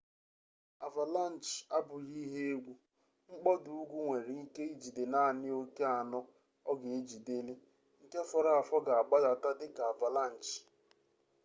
avalanche abụghị ihe egwu mkpọda ugwu nwere ike ijide naanị oke sno ọ ga-ejideli nke fọrọ afọ ga-agbadata dị ka avalanche